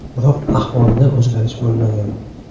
Biroq ahvolida o‘zgarish bo‘lmagan.